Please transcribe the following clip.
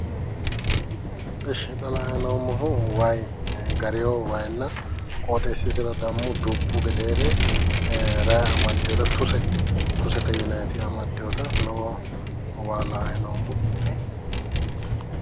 Ishshi xa la"ayi noommohu wayi gariwo wayinna qooxeessisira dammo dubbu gedeere rayi amaddiwota tuse tusete yinayiti amaddiwota waa la"ayi noommo.